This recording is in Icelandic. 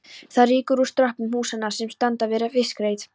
Það rýkur úr strompum húsanna sem standa við fiskreit